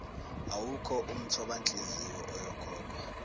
awukho umthobanhliziyo oyokhokhwa